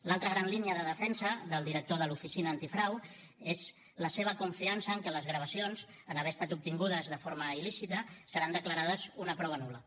l’altra gran línia de defensa del director de l’oficina antifrau és la seva confiança en què les gravacions en haver estat obtingudes de forma il·lícita seran declarades una prova nul·la